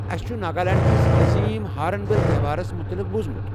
اسہِ چھُ ناگالینڈ کِس عظیٖم ہارٕن بِل تہوارَس متعلِق بوُزمُت۔